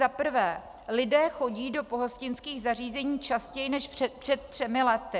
Za prvé, lidé chodí do pohostinských zařízení častěji než před třemi lety.